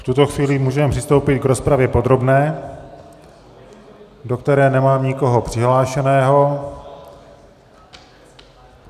V tuto chvíli můžeme přistoupit k rozpravě podrobné, do které nemám nikoho přihlášeného.